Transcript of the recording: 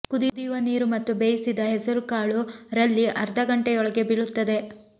ಕುದಿಯುವ ನೀರು ಮತ್ತು ಬೇಯಿಸಿದ ಹೆಸರು ಕಾಳು ರಲ್ಲಿ ಅರ್ಧ ಗಂಟೆಯೊಳಗೆ ಬೀಳುತ್ತದೆ